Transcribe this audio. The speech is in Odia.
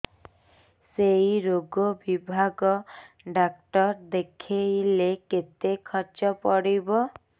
ସେଇ ରୋଗ ବିଭାଗ ଡ଼ାକ୍ତର ଦେଖେଇଲେ କେତେ ଖର୍ଚ୍ଚ ପଡିବ